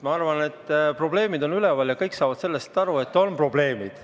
Ma arvan, et probleemid on üleval ja kõik saavad sellest aru, et on probleemid.